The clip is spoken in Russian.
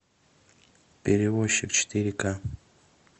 перевозчик четыре ка